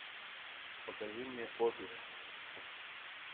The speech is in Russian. покажи мне офис